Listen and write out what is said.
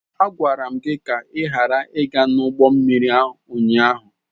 A gwara m gị ka ị ghara ịga n'ụgbọ mmiri ụnyaahụ!